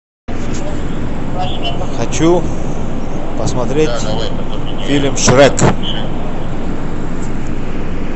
хочу посмотреть фильм шрек